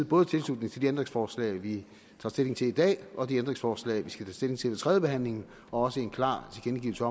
både tilslutning til de ændringsforslag vi tager stilling til i dag og de ændringsforslag vi skal tage stilling til ved tredjebehandlingen og også en klar tilkendegivelse